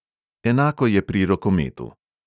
Enako je pri rokometu.